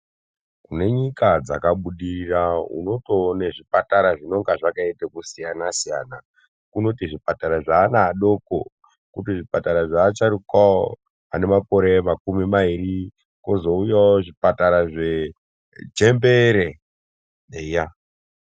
Nyika dzakabudirira unotoone zvipatara zvinenge zvakaita kusiyana siyana. Kunoti zvipatara zveana adoko, koti zvipatara zveasharukwawo ane makore makumi mairi kwozouyawo zvipatara zvechembere eya.